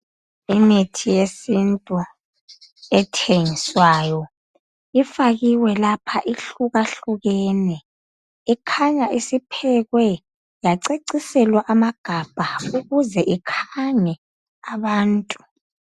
Imithi yesintu ethengiswayo, ifakiwe lapha ihlukahlukene. Ikhanya isiphekwe yaceciselwa amagabha ukuze ikhange abantu